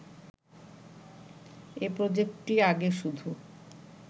এ প্রজেক্টটি আগে শুধু